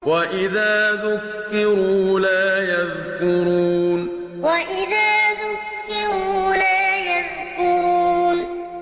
وَإِذَا ذُكِّرُوا لَا يَذْكُرُونَ وَإِذَا ذُكِّرُوا لَا يَذْكُرُونَ